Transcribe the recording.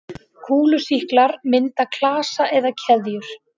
Kúlusýklar mynda klasa eða keðjur.